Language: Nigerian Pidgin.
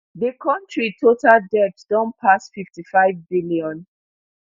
di kontri total debt don pass fifty-five billion